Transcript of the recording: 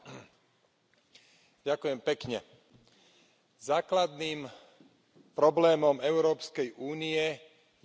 Základným problémom Európskej únie je nedodržiavanie pravidiel a dohôd.